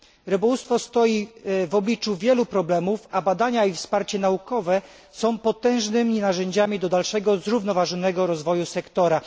Rybołówstwo stoi w obliczu wielu problemów, a badania i wsparcie naukowe są potężnymi narzędziami dalszego zrównoważonego rozwoju sektora.